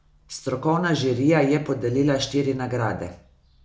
Strokovna žirija je podelila štiri nagrade.